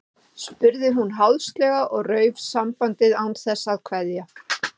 spurði hún háðslega og rauf sambandið án þess að kveðja.